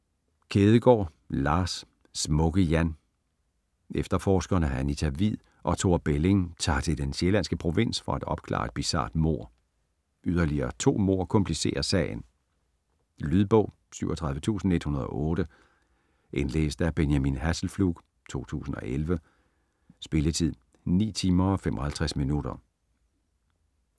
Kjædegaard, Lars: Smukke-Jan Efterforskerne Anita Hvid og Thor Belling tager til den sjællandske provins for at opklare et bizart mord. Yderligere to mord komplicerer sagen. Lydbog 37108 Indlæst af Benjamin Hasselflug, 2011. Spilletid: 9 timer, 55 minutter.